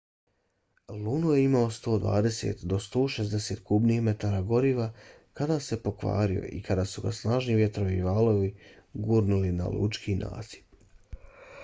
luno je imao 120-160 kubnih metara goriva kada se pokvario i kada su ga snažni vjetrovi i valovi gurnuli na lučki nasip